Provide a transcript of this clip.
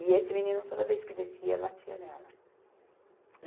E esse menino, toda vez que descia, batia nela.